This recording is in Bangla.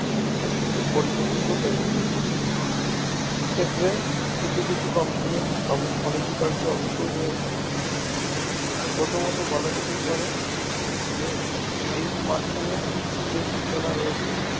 পরিবর্তিত হয়েছি সেক্ষেত্রে কিছু কিছু company র অনস্বীকার্য অবসসই রয়েছে প্রথমত বলা যেতেই পারে যে এই smart phone এর যে সূচনা রয়েছে